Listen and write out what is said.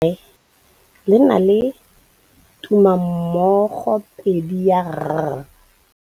Lefoko la rre, le na le tumammogôpedi ya, r.